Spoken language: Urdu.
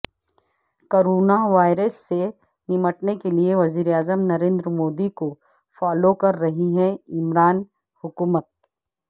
کوروناوائرس سے نمٹنے کیلئے وزیر اعظم نریندر مودی کو فالو کررہی ہے عمران حکومت